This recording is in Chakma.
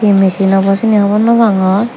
he machine obo syeni hobor naw pangor.